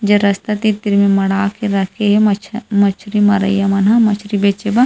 जब रास्ता तिर तिर में मड़ा के रखे मछरी मरया मछरी बेचना।